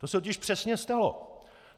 To se totiž přesně stalo!